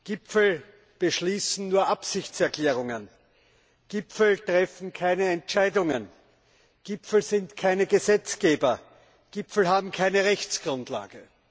Gipfel beschließen nur Absichtserklärungen, Gipfel treffen keine Entscheidungen, Gipfel sind keine Gesetzgeber, Gipfel haben keine Rechtsgrundlage.